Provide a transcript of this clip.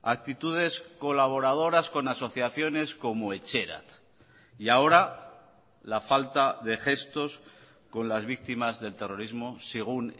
actitudes colaboradoras con asociaciones como etxerat y ahora la falta de gestos con las víctimas del terrorismo según